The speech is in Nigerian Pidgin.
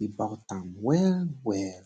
about am well well